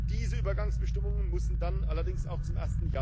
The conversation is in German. Diese Übergangsbestimmungen müssen dann allerdings auch zum